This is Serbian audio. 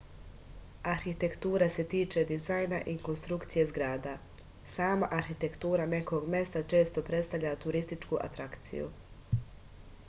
arhitektura se tiče dizajna i konstrukcije zgrada sama arhitektura nekog mesta često predstavlja turističku atrakciju